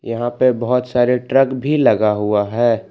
यहां पर बहुत सारे ट्रक भी लगा हुआ है।